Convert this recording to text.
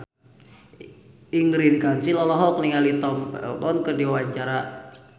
Ingrid Kansil olohok ningali Tom Felton keur diwawancara